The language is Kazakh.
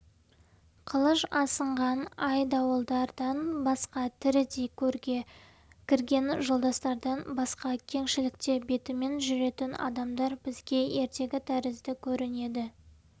қылыш асынған айдауылдардан басқа тірідей көрге кірген жолдастардан басқа кеңшілікте бетімен жүретін адамдар бізге ертегі тәрізді көрінеді